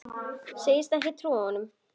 Segist ekki trúa honum.